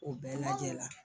O bɛɛ lajɛ la